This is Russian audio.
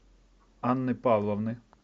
анны павловны